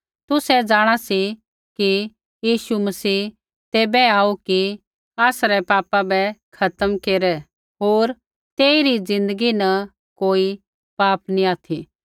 तुसै जाँणा सी कि यीशु मसीह तैबै आऊ कि आसरै पापा बै खत्म केरै होर तेई रै ज़िन्दगी न कोई पाप नैंई ऑथि